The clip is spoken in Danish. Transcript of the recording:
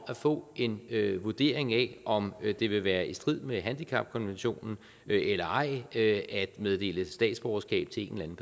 at få en vurdering af om det vil være i strid med handicapkonventionen eller ej at meddele statsborgerskab til en